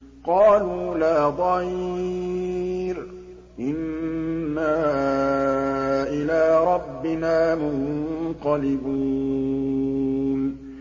قَالُوا لَا ضَيْرَ ۖ إِنَّا إِلَىٰ رَبِّنَا مُنقَلِبُونَ